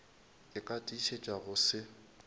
ka ke tiišetša go se